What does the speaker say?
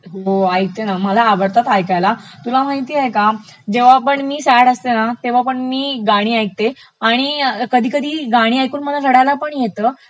हो ऐकते ना, मला आवडतात ऐकायला. तुला माहितेय का जेव्हापण मी सॅड असते ना तेव्हा पण मी गाणी ऐकते आणि कधी कधी गाणी ऐकून मला रडायलापण येत,